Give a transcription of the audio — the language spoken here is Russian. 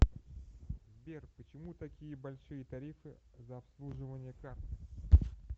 сбер почему такие большие тарифы за обслуживание карты